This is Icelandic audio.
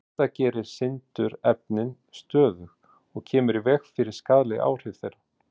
Þetta gerir sindurefnin stöðug og kemur í veg fyrir skaðleg áhrif þeirra.